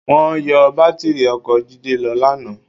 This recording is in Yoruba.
Wọ́n yọ bátìrì ọkọ̀ Jídé lọ lánàá.